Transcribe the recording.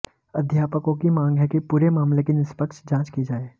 अध्यापकों की मांग है कि पूरे मामले की निष्पक्ष जांच की जाए